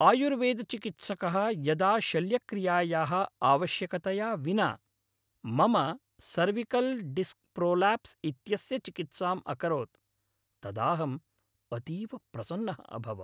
आयुर्वेदचिकित्सकः यदा शल्यक्रियायाः आवश्यकतया विना मम सर्विकल् डिस्क् प्रोलाप्स् इत्यस्य चिकित्साम् अकरोत् तदाहम् अतीव प्रसन्नः अभवम्।